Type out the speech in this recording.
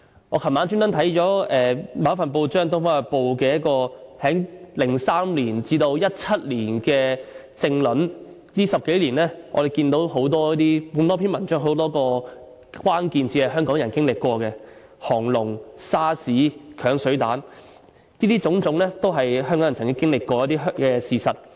我昨晚刻意翻看《東方日報》2003年至2017年的政論，我們看到在這10多年內，多篇文章的多個關鍵字，包括"沙士"、"鏹水彈"等，如此種種都是香港人曾經歷過的事實。